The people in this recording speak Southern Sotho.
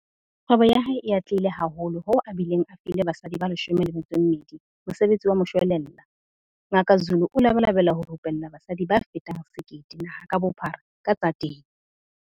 Kgwebo ya hae e atlehile haholo hoo a bileng a file basadi ba 12 mosebetsi wa moshwelella. Ngaka Zulu o labalabela ho rupella basadi ba fetang 1 000 naha ka bophara ka tsa temo.